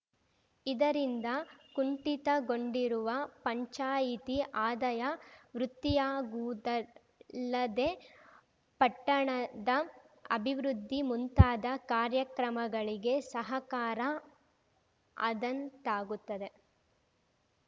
ಇದರಿಂದ ಕುಂಠಿತಗೊಂಡಿರುವ ಪಂಚಾಯಿತಿ ಆದಾಯ ವೃದ್ಧಿಯಾಗುವುದಲ್ಲದೇ ಪಟ್ಟಣದ ಅಭಿವೃದ್ಧಿ ಮುಂತಾದ ಕಾರ್ಯಕ್ರಮಗಳಿಗೆ ಸಹಕಾರ ಆದಂತಾಗುತ್ತದೆ